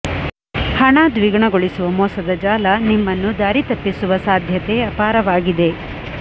ಹಣ ದ್ವಿಗುಣಗೊಳಿಸುವ ಮೋಸದ ಜಾಲ ನಿಮ್ಮನ್ನು ದಾರಿ ತಪ್ಪಿಸುವ ಸಾಧ್ಯತೆ ಅಪಾರವಾಗಿದೆ